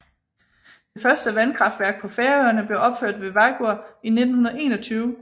Det første vandkraftværk på Færøerne blev opført ved Vágur i 1921